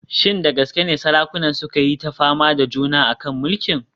Shin da gaske ne sarakunan suka yi ta fama da juna a kan muƙamin?